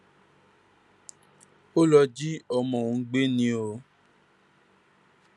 ó lọ jí ọmọ òun gbé ni o